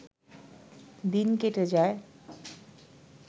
দিন কেটে যায়